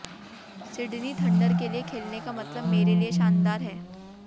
Sydney Thunder के लिए खेलने का मतलब मेरे लिए शानदार है